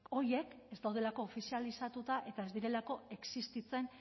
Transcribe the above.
horiek ez daudelako ofizializatuta eta ez direlako existitzen